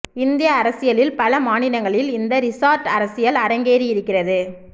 இந்திய அரசியலில் பல மாநிலங்களில் இந்த ரிசார்ட் அரசியல் அரங்கேறியிருக்கிறது